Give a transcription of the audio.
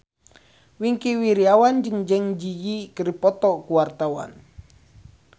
Wingky Wiryawan jeung Zang Zi Yi keur dipoto ku wartawan